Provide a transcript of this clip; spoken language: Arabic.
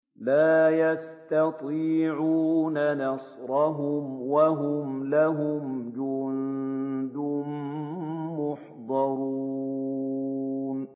لَا يَسْتَطِيعُونَ نَصْرَهُمْ وَهُمْ لَهُمْ جُندٌ مُّحْضَرُونَ